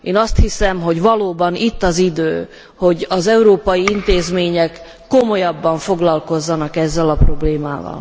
Én azt hiszem, hogy valóban itt az idő, hogy az európai intézmények komolyabban foglalkozzanak ezzel a problémával.